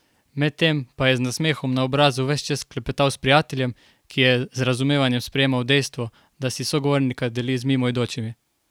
Med tem pa je z nasmehom na obrazu ves čas klepetal s prijateljem, ki je z razumevanjem sprejemal dejstvo, da si sogovornika deli z mimoidočimi.